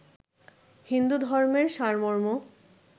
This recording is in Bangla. হিন্দুধর্মের সারমর্ম